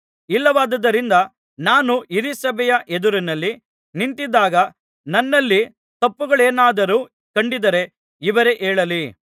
ಇಲ್ಲವಾದ್ದರಿಂದ ನಾನು ಹಿರೀಸಭೆಯ ಎದುರಿನಲ್ಲಿ ನಿಂತಿದ್ದಾಗ ನನ್ನಲ್ಲಿ ತಪ್ಪುಗಳೇನಾದರೂ ಕಂಡಿದ್ದರೆ ಇವರೇ ಹೇಳಲಿ